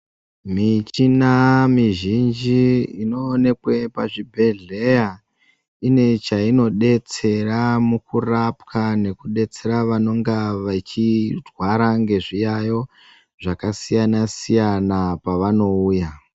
Michina mizhinji inoonekwe pazvibhehleya ine chainobetsera mukurapwa nekubetsera vanonga vechirwara ngezviyayiyo zvakasiyana siyana pavanouya.